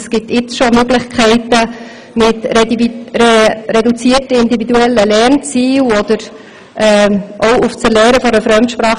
Es gibt jetzt schon Möglichkeiten, wie reduzierte individuelle Lernziele oder den Verzicht auf das Erlernen einer Fremdsprache.